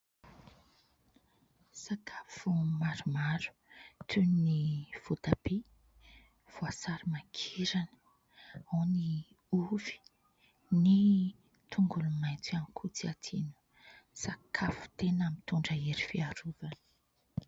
Sakafo maromaro toy : ny voatabia, voasary makirana, ao ny ovy, ny tongolomaitso ihany koa tsy adino. Sakafo tena mitondra hery fiarovana.